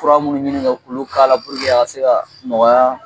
Fura munnu ɲini kɛ k'olu k'a la pururke a ka se ka nɔgɔya